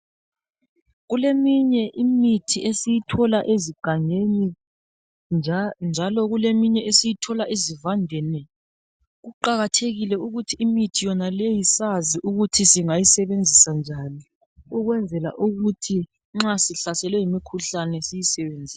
Kuleminye imithi esiyithola egangeni njalo kuleminye esiyithola ezivandeni kuqakathekile ukuthi imithi yonaleyo sazi ukuthi singayisebenzisa njani ukwenzela ukuthi nxa sihlaswele yimikhuhlane siyisebenzise.